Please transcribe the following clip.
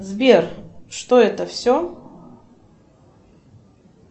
сбер что это все